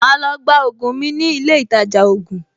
Màá lọ gba ògùn mi ní ilé ìtajà ògùn